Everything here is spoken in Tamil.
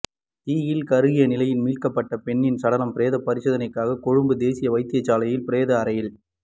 தீயில் கருகிய நிலையில் மீட்கப்பட்ட பெண்ணின் சடலம் பிரேத பரிசோதனைக்காக கொழும்பு தேசிய வைத்தியசாலையின் பிரேத அறையில்